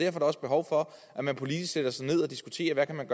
er der også behov for at man politisk sætter sig ned og diskuterer hvad man